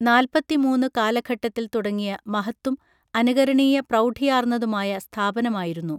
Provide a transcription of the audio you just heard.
നാൽപ്പത്തിമൂന്ന് കാലഘട്ടത്തിൽ തുടങ്ങിയ മഹത്തും അനുകരണീയ പ്രൌഢിയാർന്നതുമായ സ്ഥാപനമായിരുന്നു